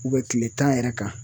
U bɛ kile tan yɛrɛ kan